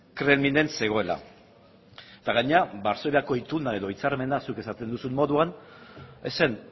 kremlinen zegoela eta gainera varsoviako ituna edo hitzarmena zuk esaten duzun moduan ez zen